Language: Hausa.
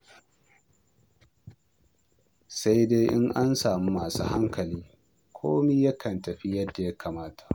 Sai dai in an samu masu hankali, komai yakan tafi yadda ya kamata.